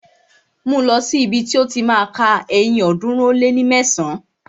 Mú lọ̀ sí ibi ti ó ti má a ka ẹyin ọ̀ọ́dúnrún ó lé mẹsán!